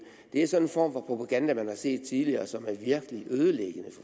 det er sådan en form for propaganda man har set tidligere som er virkelig ødelæggende